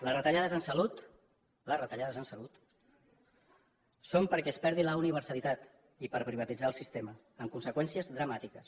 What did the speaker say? les retallades en salut són perquè se’n perdi la universalitat i per privatitzar el sistema amb conseqüències dramàtiques